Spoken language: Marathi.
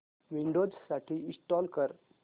विंडोझ साठी इंस्टॉल कर